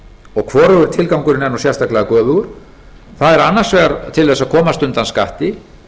og hvorugur tilgangurinn er sérstaklega göfugur það er annars vegar til þess að komast undan skatti